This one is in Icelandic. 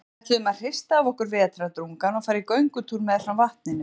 Við ætluðum að hrista af okkur vetrardrungann og fara í göngutúr meðfram vatninu.